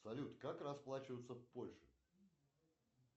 салют как расплачиваться в польше